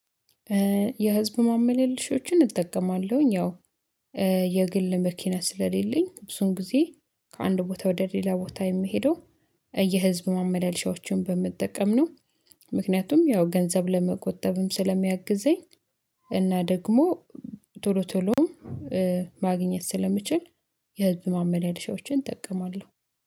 የህዝብ ማመልልሾችን እጠቀማለሁኝ። ያው የግል መኪና ስለሌለኝ ብዙን ጊዜ ከአንድ ቦታ ወደ ሌላ ቦታ የምሄደው የህዝብ ማመላለሻዎችን በመጠቀም ነው። ምክንያቱም ያው ገንዘብ ለመቆጠብም ስለሚያግዘኝ እና ደግሞ ቶሎ ቶሎም ማግኘት ስለምችል። የህዝብ ማመላለሻዎችን እጠቀማለሁ